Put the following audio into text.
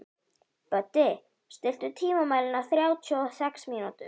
Böddi, stilltu tímamælinn á þrjátíu og sex mínútur.